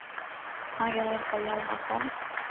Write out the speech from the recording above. Margareta Hjalmarsson